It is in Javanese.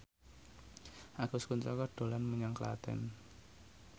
Agus Kuncoro dolan menyang Klaten